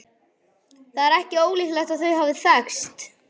Það er ekki ólíklegt að þau hafi þekkst.